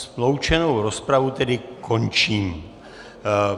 Sloučenou rozpravu tedy končím.